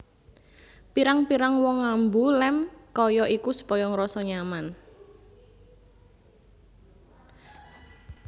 Pirang pirang wong ngambu lem kaya iku supaya ngrasa nyaman